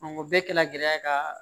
o bɛɛ kɛla gɛlɛya ka